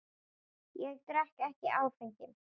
Ég drekk ekki áfengi.